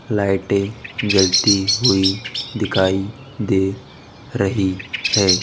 लाइटें जलती हुई दिखाई दे रही है।